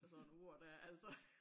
Af sådan ord dér altså